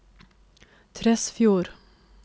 Tresfjord